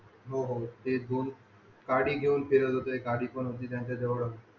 होते दोन काडी पण घेऊन फिरत होते गाडी पण होती त्यांच्या जवळ